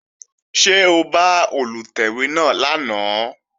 Ṣé o bá Olùtẹ̀wé náà lánàá?